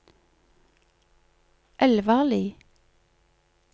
Elvarli